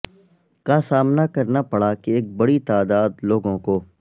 کا سامنا کرنا پڑا کی ایک بڑی تعداد لوگوں کو